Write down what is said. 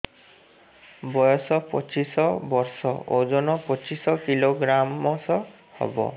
ବୟସ ପଚିଶ ବର୍ଷ ଓଜନ ପଚିଶ କିଲୋଗ୍ରାମସ ହବ